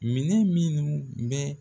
Minɛn minnu bɛ